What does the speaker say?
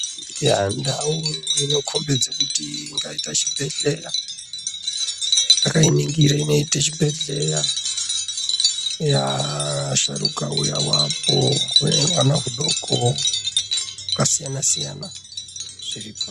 Yaaa ndau inokombidza kuti ingaita chibhedhlera , ndakainingira inoite chibhedhlera eya asharuka auyawo apo une hwana hudoko hwakasiyana siyana zviripo.